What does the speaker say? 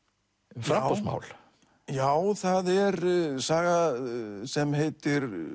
um framboðsmál já það er saga sem heitir